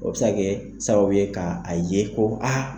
O bɛ se kɛ sababu ye ka a ye ko a